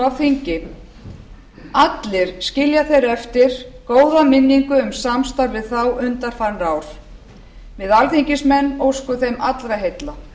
þingi allir skilja þeir eftir góða minningu um samstarf við þá undanfarin ár við alþingismenn óskum þeim allra heilla